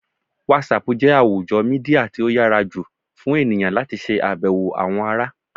WhatsApp jẹ́ àwùjọ Mídíà tí ó yára jù fún ènìyàn láti ṣe abewo àwọn ará.